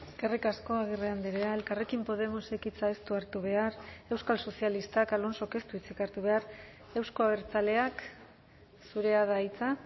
eskerrik asko agirre andrea elkarrekin podemosek hitza ez du hartu behar euskal sozialistak alonsok ez du hitzik hartu behar euzko abertzaleak zurea da hitza